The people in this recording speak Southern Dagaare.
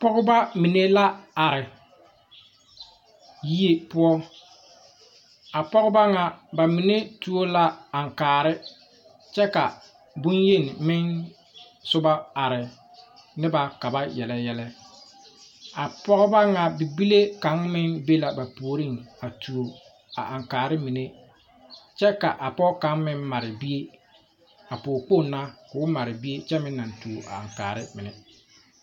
Pɔgeba mine la are yie poɔ a pɔgeba ŋa mine tuo la aŋkaare kyɛ ka boŋyeni meŋ soba are ne ba ka ba yele yɛlɛ a pɔgeba ŋa bibile kaŋ meŋ be la ba puoriŋ a tuo a aŋkaare mine kyɛ ka a pɔge kaŋ meŋ mare bie a pɔgekpoŋ na ko o mare bie kyɛ meŋ naŋ tuo aŋkaare mine.